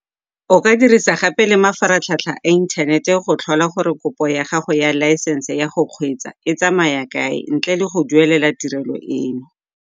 O ka dirisa gape le mafaratlhatlha a inthanete go tlhola gore kopo ya gago ya laesense ya go kgweetsa e tsamaya kae ntle le go duelela tirelo eno.